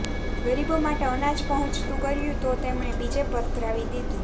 ગરીબો માટે અનાજ પહોંચતું કર્યું તો તેમણે બીજે પધરાવી દીધું